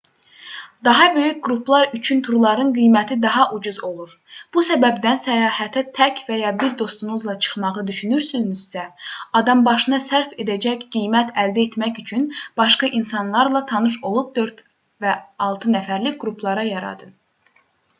daha böyük qruplar üçün turların qiyməti daha ucuz olur bu səbəbdən səyahətə tək və ya bir dostunuzla çıxmağı düşünürsünüzsə adambaşına sərf edəcək qiymət əldə etmək üçün başqa insanlarla tanış olub 4-6 nəfərlik qruplar yaradın